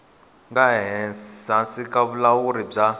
nga ehansi ka vulawuri bya